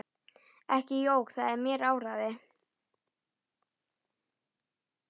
Ekki jók það mér áræði.